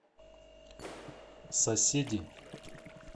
соседи